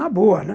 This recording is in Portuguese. Na boa, né?